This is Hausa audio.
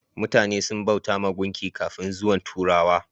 Mutane sun bautawa gunki kafin zuwan turawa.